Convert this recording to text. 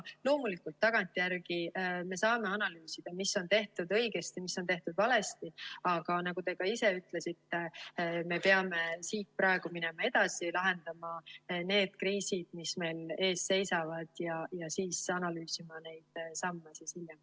Loomulikult, tagantjärele me saame analüüsida, mis on tehtud õigesti, mis on tehtud valesti, aga nagu te ka ise ütlesite, me peame siit praegu minema edasi, lahendama need kriisid, mis meil ees seisavad, ja siis analüüsima neid samme hiljem.